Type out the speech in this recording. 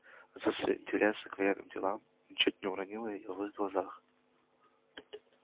отсутствие интереса к военным делам ничуть не уронило её в их глазах